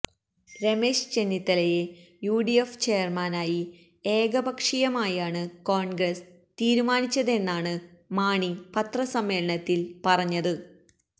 രമേശ് ചെന്നിത്തലയെ യുഡിഎഫ് ചെയര്മാനായി ഏകപക്ഷീയമായാണ് കോണ്ഗ്രസ് തീരുമാനിച്ചതെന്നാണ് മാണി പത്രസമ്മേളനത്തില് പറഞ്ഞത്